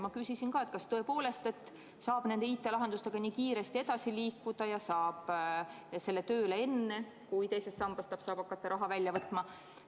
Ma küsisin, kas tõepoolest saab nende IT-lahendustega nii kiiresti edasi liikuda ja saab selle tööle enne, kui teisest sambast võib hakata raha välja võtma.